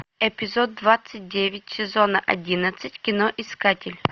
эпизод двадцать девять сезона одиннадцать кино искатель